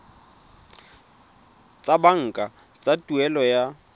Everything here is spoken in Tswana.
tsa banka tsa tuelo ya